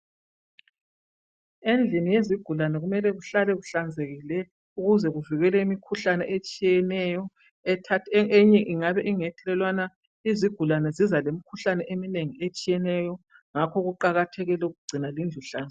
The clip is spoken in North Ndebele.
Endlini yezigulane kumele kuhlale kuhlanzekile ukuze kuvikele imikhuhlane etshiyeneyo eyinye ingabe ingethelelwana izigulane ziza lemkhuhlane eminengi etshiyeneyo ngakho kuqakathekile ukugcina lendlu ihlanzi.